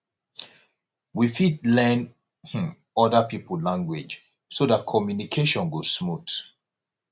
we fit learn um oda pipo language so dat communication go smooth